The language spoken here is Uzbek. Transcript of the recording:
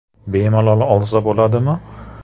Bemalol olsa bo‘ladimi?